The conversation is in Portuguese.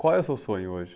Qual é o seu sonho hoje?